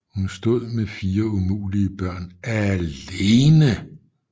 Hun stod med fire umulige børn ALENE